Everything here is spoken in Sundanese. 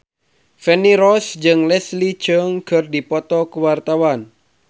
Feni Rose jeung Leslie Cheung keur dipoto ku wartawan